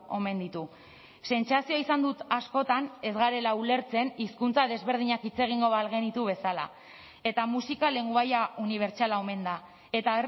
omen ditu sentsazioa izan dut askotan ez garela ulertzen hizkuntza desberdinak hitz egingo bagenitu bezala eta musika lengoaia unibertsala omen da eta